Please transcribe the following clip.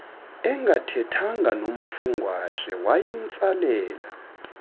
engathethanga nomafungwashe wayemtsalela